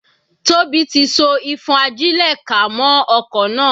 Tóbi tí so ìfọ́n-ajílẹ̀-ká mọ́ okò náà.